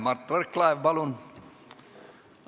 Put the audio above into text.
Mart Võrklaev, palun!